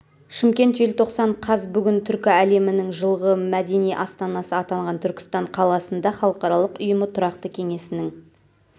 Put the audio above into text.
шымкент желтоқсан қаз бүгін түркі әлемінің жылғы мәдени астанасы атанған түркістан қаласында халықаралық ұйымы тұрақты кеңесінің